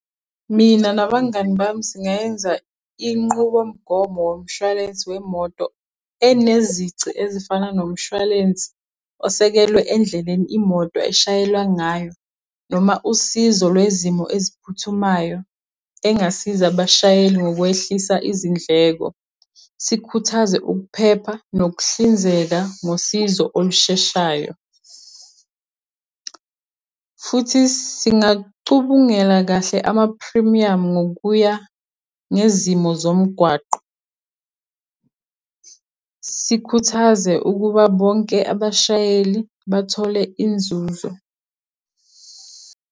Mina nabangani bami singayenza inqubomgomo womshwalense wemoto enezici ezifana nomshwalensi osekelwe endleleni imoto eshayelwa ngayo noma usizo lwezimo eziphuthumayo engasiza abashayeli ngokwehlisa izindleko, sikhuthaze ukuphepha nokuhlinzeka ngosizo olusheshayo, futhi singacubungela kahle amaphrimiyamu ngokuya ngezimo zomgwaqo, sikhuthaze ukuba bonke abashayeli bathole inzuzo.